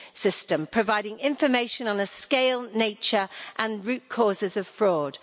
system providing information on the scale, nature and root causes of fraud.